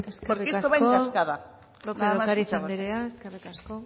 porque esto va en cascada eskerrik asko lópez de ocariz anderea eskerrik asko